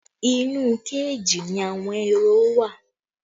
Inú kéèjì ni àwọn ehoro wa